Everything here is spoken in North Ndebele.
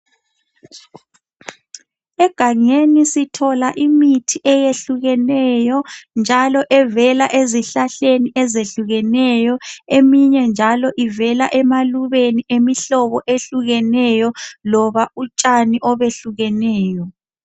Egangeni sithola imithi eyehlukeneyo njalo evela ezihlahleni ezehlukeneyo eminye njalo ivela emalubeni emihlobo ehlukeneyo loba utshani obehlukeneyo.